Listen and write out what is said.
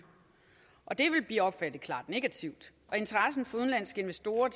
det ville blive opfattet klart negativt interessen fra udenlandske investorer